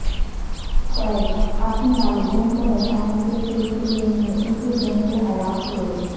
Craig اپنے والدین کو بچانے کے سلسلے میں اسی گن سے ہلاک ہوئے